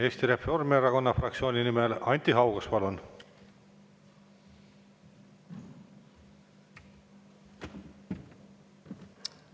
Eesti Reformierakonna fraktsiooni nimel Anti Haugas, palun!